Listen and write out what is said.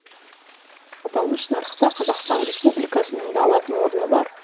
аталмыш нарықта қазақстан республикасының да алатын орны бар